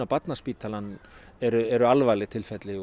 Barnaspítalann eru eru alvarleg tilfelli